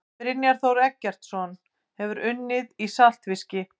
Brynjar Þór Eggertsson Hefurðu unnið í saltfiski?